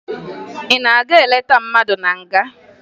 Ị na-aga ileta mmadụ na nga?